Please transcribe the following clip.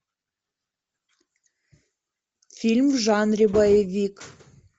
фильм в жанре боевик